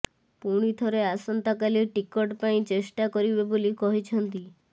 ପୁଣି ଥରେ ଆସନ୍ତାକାଲି ଟିକଟ ପାଇଁ ଚେଷ୍ଟା କରିବେ ବୋଲି କହିଛନ୍ତି